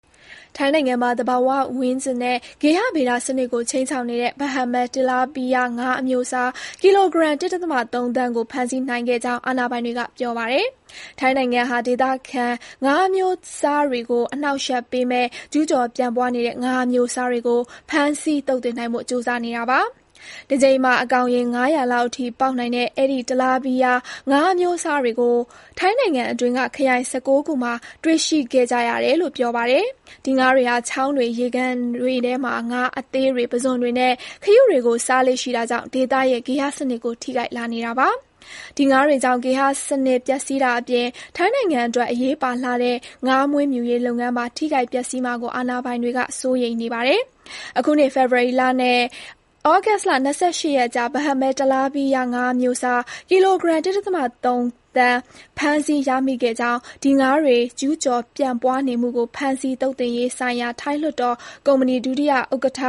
ထိုင်းနိုင်ငံမှာ သဘာ၀၀န်းကျင်နဲ့ ဂေဟဗေဒစနစ်ကို ခြိမ်းခြောက်နေတဲ့ ပါးဟက်မဲ တလားပီးယား (Blackchin Tilapia) ငါးအမျိုးအစား ကီလိုဂရမ် ၁.၃ သန်း ကို ဖမ်းဆီးနိုင်ခဲ့ကြောင်းအာဏာပိုင်တွေက ပြောပါတယ်။ ထိုင်းနိုင်ငံဟာ ဒေသခံ ငါးအမျိုးအစားတွေကို အနှောက်အယှက်ပေးမယ့် ကျူးကျော် ပြန့်ပွားနေတဲ့ ငါးအမျိုးအစားတွေကို ဖမ်းဆီး သုတ်သင်နိုင်ဖို့ ကြိုးစားနေတာပါ။ တကြိမ်မှာ အကောင်ရေ ၅၀၀ လောက်အထိ ပေါက်နိုင်တဲ့ အဲဒီ တလားပီးယား ငါးအမျိုးအစားတွေကို ထိုင်းနိုင်ငံအတွင်းက ခရိုင် ၁၉ ခုမှာ တွေ့ရှိခဲ့ရတယ်လို့လည်း ပြောပါတယ်။ ဒီငါးတွေဟာ ချောင်းတွေ၊ ရေကန်တွေထဲမှာ ငါးအသေးတွေ၊ ပုဇွန်တွေနဲ့ ခရုတွေကို စားလေ့ရှိတာကြောင့် ဒေသရဲ့ ဂေဟစနစ်ကို ထိခိုက်လာနေတာပါ။ ဒီ ငါးတွေကြောင့် ဂေဟစံနစ် ပျက်ဆီးတာအပြင် ထိုင်းနိုင်ငံအတွက် အရေးပါလှတဲ့ ငါးမွေးမြူရေးလုပ်ငန်းပါ ထိခိုက် ပျက်ဆီးမှာကို အာဏာပိုင်တွေက စိုးရိမ်နေပါတယ်။ အခုနှစ် ဖေဖော်ဝါရီလနဲ့ ဩဂုတ်လ ၂၈ ရက်အကြား ပါးဟက်မဲ တလားပီးယား ငါးအမျိုးအစား ကီလိုဂရမ် ၁.၃ သန်း ဖမ်းဆီး ရမိခဲ့ကြောင်း ဒီငါးတွေ ကျူးကျော် ပြန့်ပွားနေမှုကို ဖမ်းဆီး သုတ်သင်ရေးဆိုင်ရာ ထိုင်းလွှတ်တော်ကော်မီတီ ဒုတိယဥက္ကဋ္ဌ